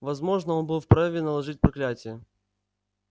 возможно он был вправе наложить проклятие